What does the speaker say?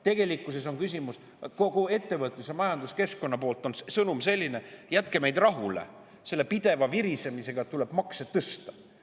Tegelikkuses on küsimus selles, et kogu ettevõtlus‑ ja majanduskeskkonna sõnum on selline: "Jätke meid rahule selle pideva virisemisega, et tuleb makse tõsta!